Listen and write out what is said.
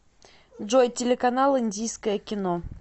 джой телеканал индийское кино